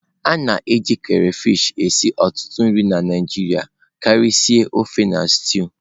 A na-eji crayfish esi ọtụtụ nri na Naijiria karịsịa ofe na stew.